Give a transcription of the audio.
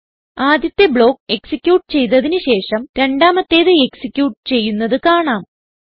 ആദ്യത്തെ block execute ചെയ്തതിന് ശേഷം രണ്ടാമത്തേത് എക്സിക്യൂട്ട് ചെയ്യുന്നത് കാണാം